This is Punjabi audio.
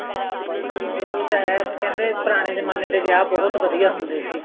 ਉਹੀ ਤਾਂ ਹੈ ਕਹਿੰਦੇ ਪੁਰਾਣੇ ਜਮਾਨੇ ਵਿਆਹ ਬਹੁਤ ਵਧੀਆ ਹੁੰਦੇ ਸੀ